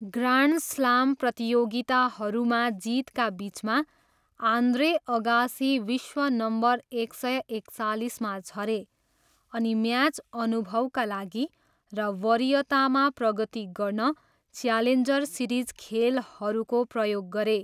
Grand slam प्रतियोगिताहरूमा जितका बिचमा, आन्द्रे अगासी विश्व नम्बर एक सय एकचालिसमा झरे अनि म्याच अनुभवका लागि र वरीयतामा प्रगति गर्न च्यालेन्जर सिरिज खेलहरूको प्रयोग गरे।